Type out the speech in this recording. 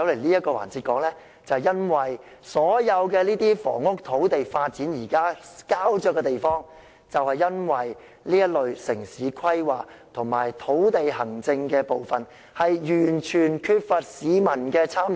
現時所有房屋和土地的發展膠着，就是因為城市規劃及土地行政完全缺乏市民的參與。